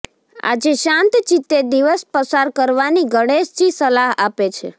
આજે શાંત ચિતે દિવસ પસાર કરવાની ગણેશજી સલાહ આપે છે